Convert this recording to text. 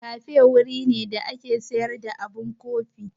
Kafe wuri ne da ake sayar da abun kofi.